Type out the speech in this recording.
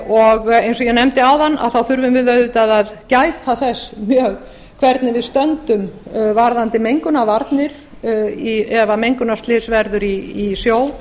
og eins og ég nefndi áðan þurfum við auðvitað að gæta þess mjög hvernig við stöndum varðandi mengunarvarnir ef mengunarslys verður í sjó